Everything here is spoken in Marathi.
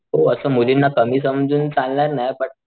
हो असं मुलींना कमी समजून चालणार नाही बट,